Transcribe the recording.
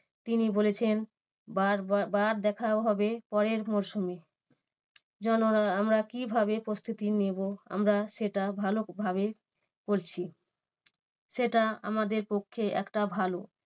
তিনি বলেছেন বার বার দেখা হবে পরের মরসুমে। জানোনা আমরা কিভাবে প্রস্তুতি নেবো? আমরা সেটা ভালোভাবেই করছি। সেটা আমাদের পক্ষে একটা ভালো